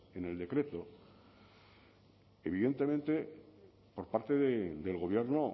en el decreto evidentemente por parte del gobierno